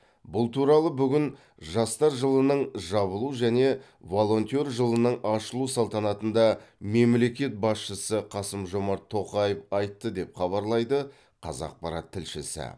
бұл туралы бүгін жастар жылының жабылу және волонтер жылының ашылу салтанатында мемлекет басшысы қасым жомарт тоқаев айтты деп хабарлайды қазақпарат тілшісі